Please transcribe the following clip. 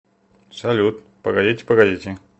салют погодите погодите